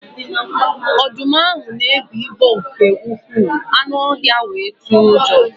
Ọdụm ahụ na-ebigbọ nke ukwuu, anụ ọhịa ahụ wee tụọ ụjọ